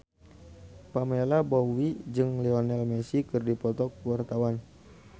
Pamela Bowie jeung Lionel Messi keur dipoto ku wartawan